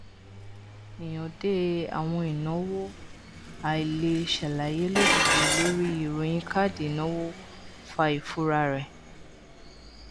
ìhànde àwọn ìnáwó àìleṣàlàyé lójijì lórí ìròyìn káàdì ìnáwó fa ìfura rẹ